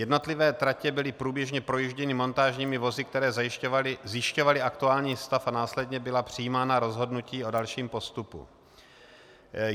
Jednotlivé tratě byly průběžně projížděny montážními vozy, které zjišťovaly aktuální stav, a následně byla přijímána rozhodnutí o dalším postupu.